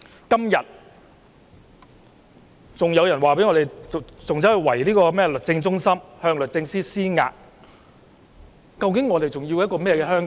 今天有人圍堵律政中心，向律政司司長施壓，究竟我們追求怎樣的香港？